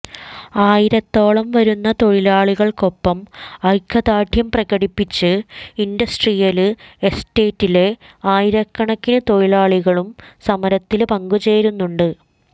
ആയിരത്തോളം വരുന്ന തൊഴിലാളികള്ക്കൊപ്പം ഐക്യദാര്ഢ്യം പ്രകടിപ്പിച്ച് ഇന്ഡസ്ട്രിയല് എസ്റ്റേറ്റിലെ ആയിരക്കണക്കിന് തൊഴിലാളികളും സമരത്തില് പങ്കുചേരുന്നുണ്ട്